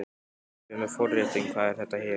Hérna erum við með forréttinn, hvað er þetta hérna?